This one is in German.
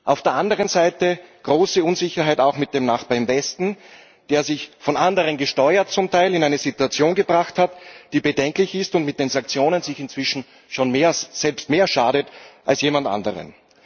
Auf der anderen Seite große Unsicherheit auch mit dem Nachbarn im Westen, der sich, von anderen gesteuert, zum Teil in eine Situation gebracht hat, die bedenklich ist, und mit den Sanktionen sich inzwischen schon selbst mehr schadet als jemand anderem.